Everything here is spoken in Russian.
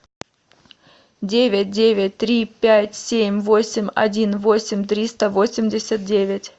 девять девять три пять семь восемь один восемь триста восемьдесят девять